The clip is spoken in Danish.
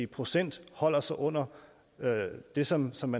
procent holder sig under det som som